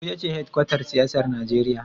Abuja ce hedkwatar siyasar Najeriya.